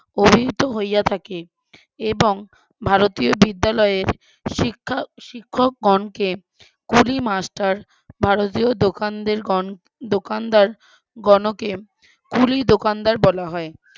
অনিহির্ত হইয়া থাকে, এবং ভারতীয় বিদ্যালয়ে শিক্ষা শিক্ষকগণকে কুলি master ভারতীয় দোকানদের কন দোকানদারগণকে কুলি দোকানদার বলা হয়,